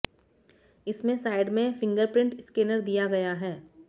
इसमें साइड में fingerprint scanner दिया गया है